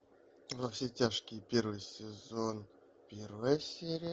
во все тяжкие первый сезон первая серия